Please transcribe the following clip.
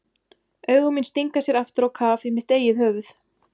Augu mín stinga sér aftur á kaf í mitt eigið höfuð.